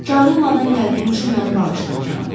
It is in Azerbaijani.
Çağırılmadan gəldiyim üçün məni bağışlayın, cənab.